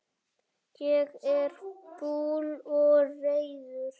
Ég er fúll og reiður.